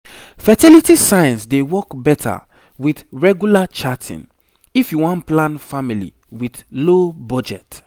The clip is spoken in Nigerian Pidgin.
fertility signs dey work better with regular charting if you won plan family with low budget